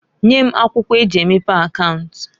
Nye m akwụkwo eji emepe akaunt.